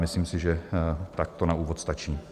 Myslím si, že tak to na úvod stačí.